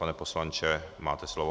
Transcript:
Pane poslanče, máte slovo.